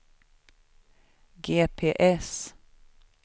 GPS